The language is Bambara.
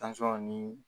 ni